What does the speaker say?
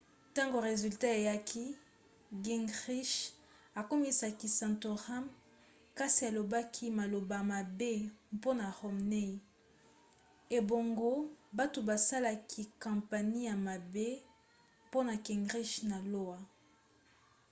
ntango resultat eyaki gingrich akumisaki santorum kasi alobaki maloba mabe mpona romney ebongo bato basalaki kampanie ya mabe mpona gingrich na iowa